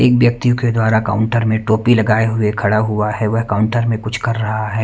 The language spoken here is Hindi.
एक व्यक्ति के द्वारा काउंटर में टोपी लगाए हुए खड़ा हुआ है वह काउंटर में कुछ कर रहा है।